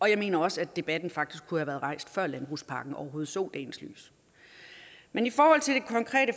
jeg mener også at debatten faktisk kunne være rejst før landbrugspakken overhovedet så dagens lys men i forhold til det konkrete